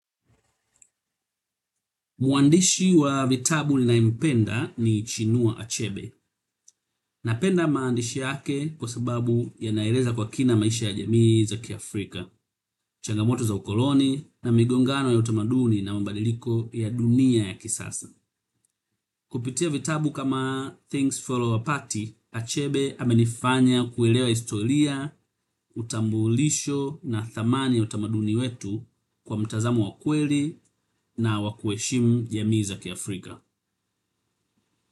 Mwandishi wa vitabu ninayempenda ni chinua Achebe. Napenda maandishi yake kwa sababu yanaeleza kwa kina maisha ya jamii za kiafrika, changamoto za ukoloni na migongano ya utamaduni na mabadiliko ya dunia ya kisasa. Kupitia vitabu kama Things Fall Apart Achebe amenifanya kuelewa historia utambulisho na dhamani ya utamaduni wetu kwa mtazamo wa kweli na wa kuheshimu jamii za kiafrika.